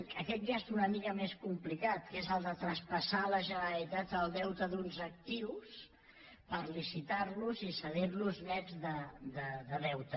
aquest ja és una mica més complicat que és el de traspassar a la generalitat el deute d’uns actius per licitar los i cedir los nets de deute